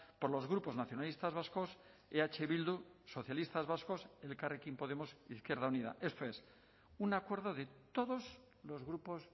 por los grupos nacionalistas vascos eh bildu socialistas vascos elkarrekin podemos izquierda unida esto es un acuerdo de todos los grupos